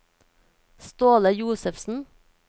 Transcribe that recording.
Ståle Josefsen